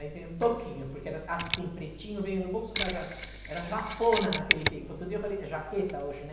Aí veio um toquinho, porque era assim, pretinho, veio no bolso da ja... Era japona naquele tempo, outro dia eu falei, é jaqueta hoje, né?